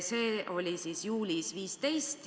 See oli juulis.